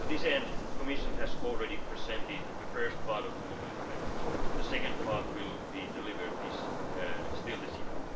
To this end, the Commission has already presented the first part of the mobility package. The second part will be delivered later this